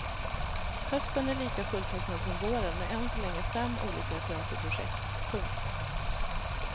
Hösten är lika fulltecknad som våren med än så länge fem olika teaterprojekt. punkt